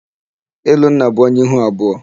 Elonna bụ onye ihu abụọ.